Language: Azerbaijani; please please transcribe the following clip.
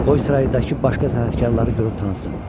Qoy saraydakı başqa sənətkarları görüb tanısın.